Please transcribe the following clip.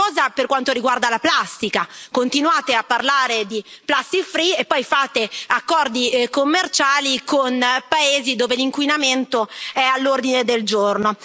La stessa cosa per quanto riguarda la plastica continuate a parlare di plastic free e poi fate accordi commerciali con paesi dove l'inquinamento è all'ordine del giorno.